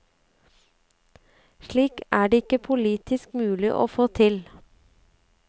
Slikt er det ikke politisk mulig å få til.